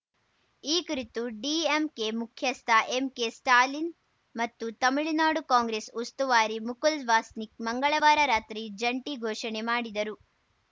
ಈ ಕುರಿತು ಡಿಎಂಕೆ ಮುಖ್ಯಸ್ಥ ಎಂಕೆ ಸ್ಟಾಲಿನ್‌ ಮತ್ತು ತಮಿಳುನಾಡು ಕಾಂಗ್ರೆಸ್‌ ಉಸ್ತುವಾರಿ ಮುಕುಲ್‌ ವಾಸ್ನಿಕ್‌ ಮಂಗಳವಾರ ರಾತ್ರಿ ಜಂಟಿ ಘೋಷಣೆ ಮಾಡಿದರು